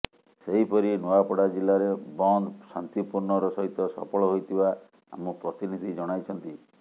ସେହିପରି ନୂଆପଡ଼ା ଜିଲ୍ଲାରେ ବନ୍ଦ ଶାନ୍ତିପୂର୍ଣ୍ଣର ସହିତ ସଫଳ ହୋଇଥିବା ଆମ ପ୍ରତିନିଧି ଜଣାଇଛନ୍ତି